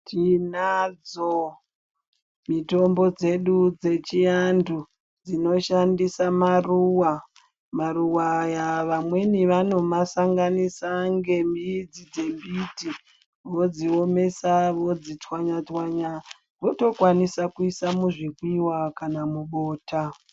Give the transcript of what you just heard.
Tinadzo mitombo dzedu dzechiantu, dzinoshandisa maruwa. Maruwa aya vamweni vanomasanganisa ngemidzi dzembiti, vodziomesa, vodzitswanya-tswanya votokwanisa kuisa muzvimwiwa kana mubota.